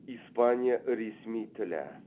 испания ресми тілі